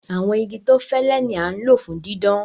Àwọn igi tó fẹlé ni a n lọ fún dídán.